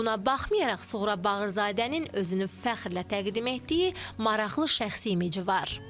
Buna baxmayaraq Suğra Bağırzadənin özünü fəxrlə təqdim etdiyi maraqlı şəxsi imici var.